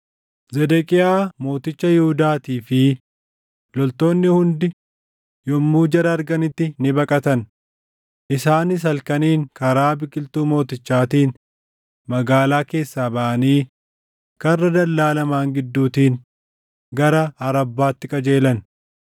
Zedeqiyaa Mooticha Yihuudaatii fi loltoonni hundi yommuu jara arganitti ni baqatan; isaanis halkaniin karaa biqiltuu mootichaatiin magaalaa keessaa baʼanii karra dallaa lamaan gidduutiin gara Arabbaatti qajeelan.